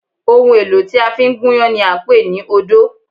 Ohun èlò tí a fi ń gúnyán ni à ń pè ní odó